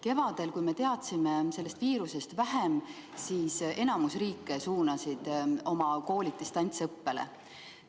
Kevadel, kui me teadsime sellest viirusest vähem, suunas enamik riike oma koolid distantsõppele.